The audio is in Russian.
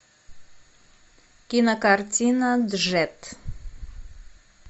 кинокартина джет